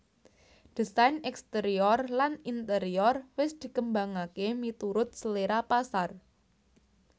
Désain exterior lan interior wis dikembangaké miturut selera pasar